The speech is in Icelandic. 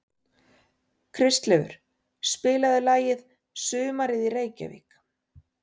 Kristleifur, spilaðu lagið „Sumarið í Reykjavík“.